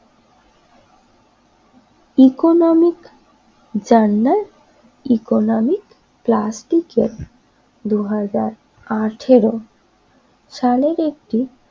economic journal economic প্লাস্টিকের দুই হাজার আঠেরো সালের একটি